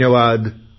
धन्यवाद